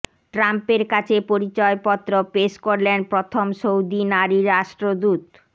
ট্রাম্পের কাছে পরিচয়পত্র পেশ করলেন প্রথম সৌদি নারী রাষ্ট্রদূত